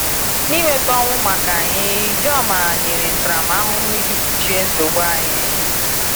N’ịnweta ọnwụ maka anyị, Ijoma nyere ntaramahụhụ iji kpuchie nsogbu anyị.